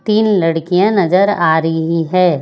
तीन लड़कियां नजर आ रीही है।